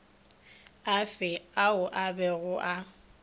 afe ao a bego a